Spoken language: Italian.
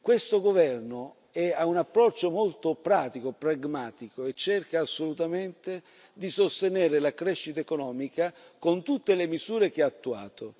Questo governo ha un approccio molto pratico, pragmatico, e cerca assolutamente di sostenere la crescita economica con tutte le misure che ha attuato.